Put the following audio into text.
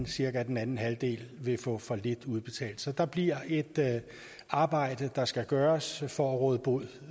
cirka den anden halvdel vil få for lidt udbetalt så der bliver et arbejde der skal gøres for at råde bod